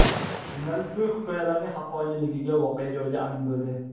Jurnalist bu hikoyalarning haqqoniyligiga voqea joyida amin bo‘ldi.